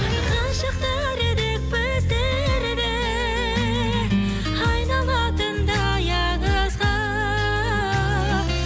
ғашықтар едік біздер де айналатындай аңызға